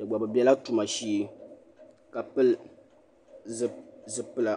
kpe gba bɛ bela tuma shee ka pili zupila